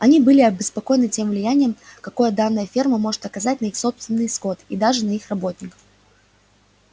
они были обеспокоены тем влиянием какое данная ферма может оказать на их собственный скот и даже на их работников